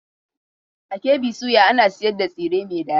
A KB soya ana sayar da tsire mai dadi.